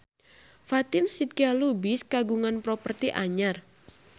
Fatin Shidqia Lubis kagungan properti anyar